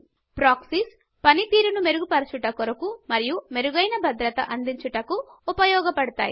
Proxiesప్రొక్షిఎస్ పనితీరును మెరుగుపరచుట కొరకు మరియు మెరుగైన భద్రత అందించుటకు ఉపయోగపడ్తాయి